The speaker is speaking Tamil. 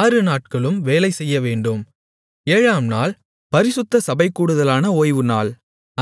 ஆறுநாட்களும் வேலைசெய்யவேண்டும் ஏழாம்நாள் பரிசுத்த சபைகூடுதலான ஓய்வுநாள்